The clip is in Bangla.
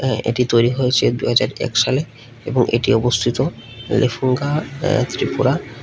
এটি তৈরি হয়েছে দু হাজার এক সালে এবং এটি অবস্থিত লেফুঙ্গা ত্রিপুরা।